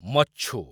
ମଚ୍ଛୁ